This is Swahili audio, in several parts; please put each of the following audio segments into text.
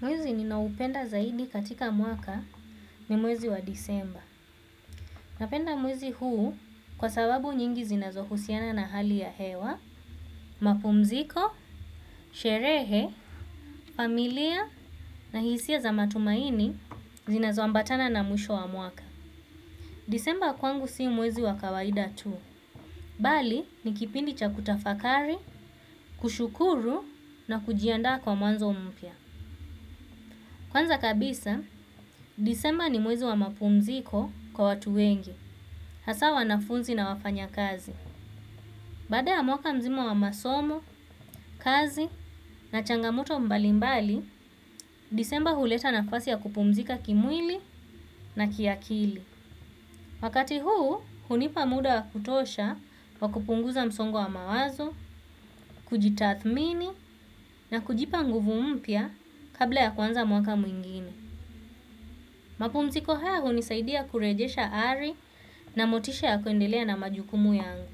Mwezi ninaupenda zaidi katika mwaka ni mwezi wa disemba. Napenda mwezi huu kwa sababu nyingi zinazohusiana na hali ya hewa, mapumziko, sherehe, familia na hisia za matumaini zinazombatana na mwisho wa mwaka. Disemba kwangu si mwezi wa kawaida tu. Bali ni kipindi cha kutafakari, kushukuru na kujiandaa kwa mwanzo mpya. Kwanza kabisa, disemba ni mwezi wa mapumziko kwa watu wengi, hasa wanafunzi na wafanya kazi. Baada ya mwaka mzima wa masomo, kazi na changamoto mbali mbali, disemba huleta nafasi ya kupumzika kimwili na kiakili. Wakati huu, hunipa muda wa kutosha wa kupunguza msongo wa mawazo, kujitathmini na kujipa nguvu mpya kabla ya kuanza mwaka mwingine. Mapumziko haya hunisaidia kurejesha ari na motisha ya kuendelea na majukumu yangu.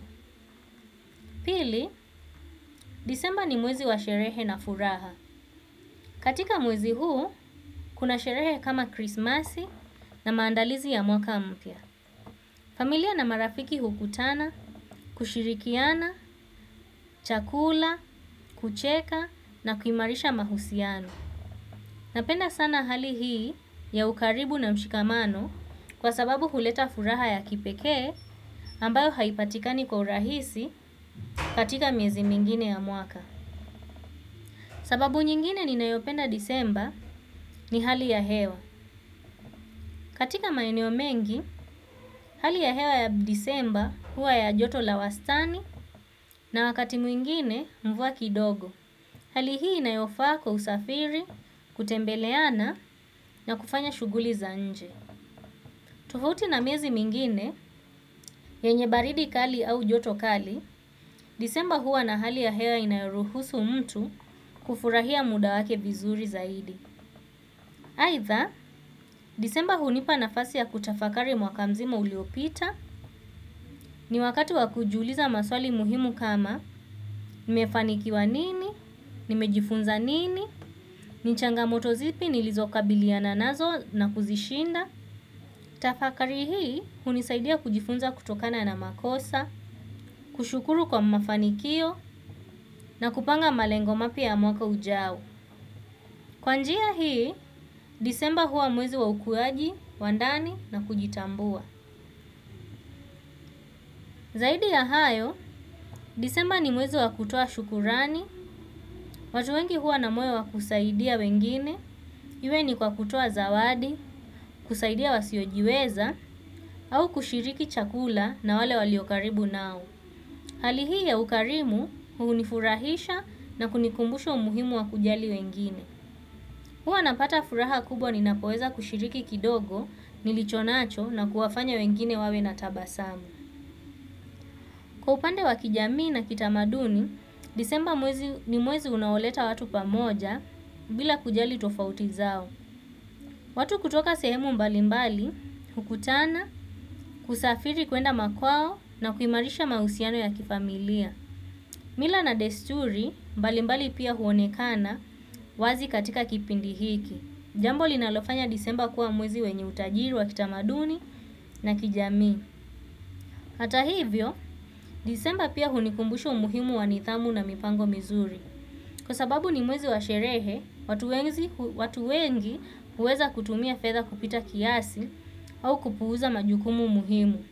Pili, disemba ni mwezi wa sherehe na furaha. Katika mwezi huu, kuna sherehe kama krismasi na maandalizi ya mwaka mpya. Familia na marafiki hukutana, kushirikiana chakula, kucheka na kuimarisha mahusiano. Napenda sana hali hii ya ukaribu na mshikamano kwa sababu huleta furaha ya kipekee ambayo haipatikani kwa urahisi katika miezi mingine ya mwaka. Sababu nyingine ninayopenda disemba, ni hali ya hewa. Katika maeneo mengi, hali ya hewa ya disemba huwa ya joto la wastani na wakati mwingine mvua kidogo. Hali hii inayofaa kwa usafiri kutembeleana na kufanya shughuli za nje. Tofauti na miezi mingine, yenye baridi kali au joto kali, disemba huwa na hali ya hewa inayoruhusu mtu kufurahia muda wake vizuri zaidi. Aitha, disemba hunipa nafasi ya kutafakari mwaka mzima uliopita, ni wakati wa kujiuliza maswali muhimu kama, nimefanikiwa nini, nimejifunza nini, ni changa moto zipi nilizokabiliana nazo na kuzishinda. Tafakari hii hunisaidia kujifunza kutokana na makosa, kushukuru kwa mafanikio na kupanga malengo mapya ya mwaka ujao. Kwa njia hii, disemba huwa mwezi wa ukuaji wa ndani na kujitambua. Zaidi ya hayo, disemba ni mwezi wa kutoa shukurani, watu wengi huwa na moyo wa kusaidia wengine. Iwe ni kwa kutoa zawadi, kusaidia wasio jiweza, au kushiriki chakula na wale walio karibu nao. Hali hii ya ukarimu hunifurahisha na kunikumbusha umuhimu wa kujali wengine. Huwa napata furaha kubwa ni napoweza kushiriki kidogo nilichonacho na kuwafanya wengine wawe na tabasamu. Kwa upande wa kijamii na kitamaduni, disemba ni mwezi unaoleta watu pamoja bila kujali tofauti zao. Watu kutoka sehemu mbalimbali, hukutana, kusafiri kuenda makwao na kuimarisha mahusiano ya kifamilia. Mila na desturi mbali mbali pia huonekana wazi katika kipindi hiki. Jambo linalofanya disemba kuwa mwezi wenye utajiri wa kitamaduni na kijamii. Ata hivyo, disemba pia hunikumbushu umuhimu wa nidhamu na mipango mizuri. Kwa sababu ni mwezi wa sherehe, watu wengi huweza kutumia fedha kupita kiasi au kupuuza majukumu muhimu.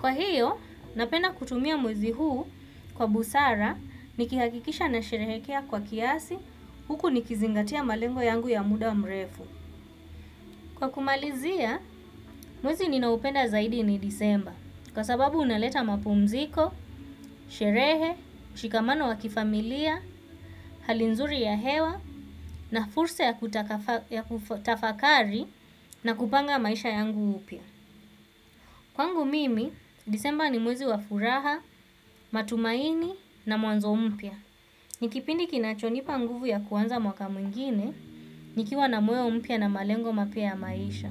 Kwa hio, napenda kutumia mwezi huu kwa busara, nikihakikisha na sherehekea kwa kiasi, huku nikizingatia malengo yangu ya muda mrefu. Kwa kumalizia, mwezi ninaupenda zaidi ni disemba, kwa sababu unaleta mapumziko, sherehe, mshikamano wa kifamilia, hali nzuri ya hewa, na fursa ya kutafakari na kupanga maisha yangu upya. Kwangu mimi, disemba ni mwezi wa furaha, matumaini na mwanzo mpya. Ni kipindi kinachonipa nguvu ya kuanza mwaka mwingine, nikiwa na moyo mpya na malengo mapya ya maisha.